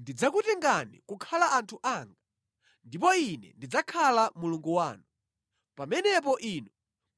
Ndidzakutengani kukhala anthu anga, ndipo Ine ndidzakhala Mulungu wanu. Pamenepo inu